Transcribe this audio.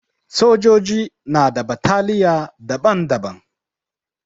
Sojoji na da bataliya daban-daban.